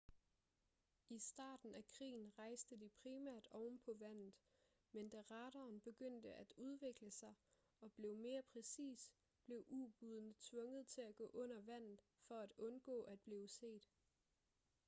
i starten af krigen rejste de primært ovenpå vandet men da radaren begyndte at udvikle sig og blev mere præcis blev ubådene tvunget til at gå under vandet for at undgå at blive set